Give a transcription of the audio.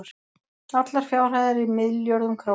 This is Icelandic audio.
allar fjárhæðir í milljörðum króna